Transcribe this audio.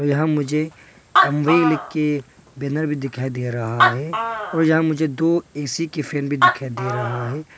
यहां मुझे एमवे लिख के बैनर भी दिखाई दे रहा है और यहां मुझे दो ए_सी के फैन भी दिखाई दे रहा है।